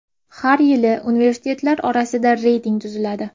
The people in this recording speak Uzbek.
Har yili universitetlar orasida reyting tuziladi.